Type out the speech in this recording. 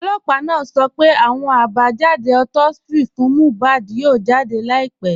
Ọlọ́pà naa sọ̀ pẹ̀ àwọn àbájàdé autopsi fún Mohbad yóò jáde láìpẹ̀.